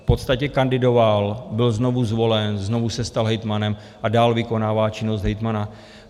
V podstatě kandidoval, byl znovu zvolen, znovu se stal hejtmanem a dál vykonává činnost hejtmana.